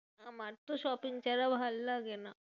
আমার তো shopping ছাড়া ভালোলাগে না।